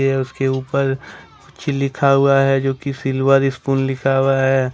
यह उसके ऊपर कुछ लिखा हुआ है जोकि सिल्वर स्पून लिखा हुआ है।